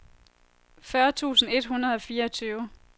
fyrre tusind et hundrede og fireogtyve